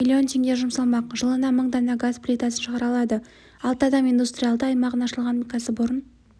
миллион теңге жұмсалмақ жылына мың дана газ плитасын шығара алады бадам индустриалды аймағында ашылған кәсіпорын